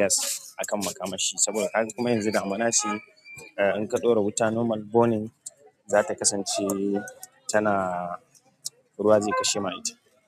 gas a kan makamashi saboda kaga kuma yanzu damuna ce in ka ɗora wuta normal burning za ta kasance tana ruwa zai kashe ma ita.